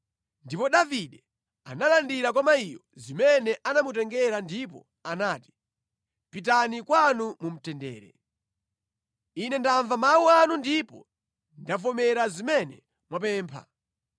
Ndipo Davide analandira kwa mayiyo zimene anamutengera ndipo anati, “Pitani kwanu mu mtendere. Ine ndamva mawu anu ndipo ndavomera zimene mwapempha.”